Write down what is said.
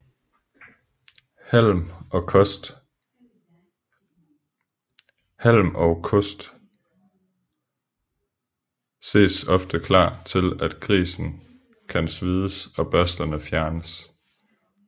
Halm og kost ses ofte klar til at grisen kan svides og børsterne fjernes